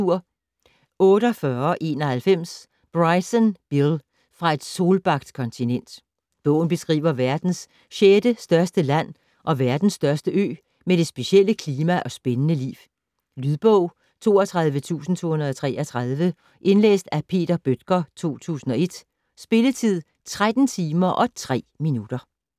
48.91 Bryson, Bill: Fra et solbagt kontinent Bogen beskriver verdens sjette største land og verdens største ø med det specielle klima og spændende liv. Lydbog 32233 Indlæst af Peter Bøttger, 2001. Spilletid: 13 timer, 3 minutter.